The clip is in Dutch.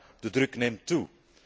Maar de druk neemt toe.